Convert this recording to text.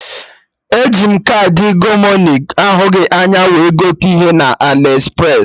E ji m kaadị Gomoney ahụghị anya wee gote ihe na Aliexpress